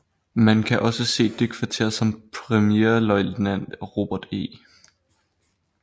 Man kan også se det kvarter som premierløjtnant Robert E